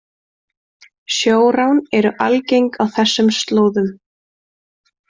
Sjórán eru algeng á þessum slóðum